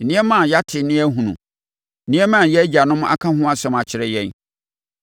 nneɛma a yɛate na yɛahunu; nneɛma a yɛn agyanom aka ho asɛm akyerɛ yɛn.